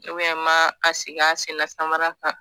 n b'a sigi a sennasamara kan.